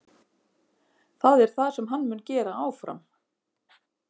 Það er það sem hann mun gera áfram.